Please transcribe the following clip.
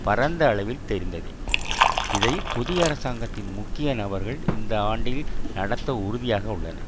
பரந்த அளவில் தெரிந்ததே இதை புதிய அரசாங்கத்தின் முக்கிய நபர்கள் இந்த ஆண்டில் நடத்த உறுதியாக உள்ளனர்